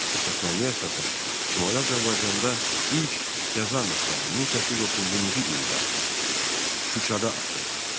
Əsasnaməyə əsasən, Şimali Azərbaycanda ilk qəza məktəbi 1830-cu ildə Şuşada açıldı.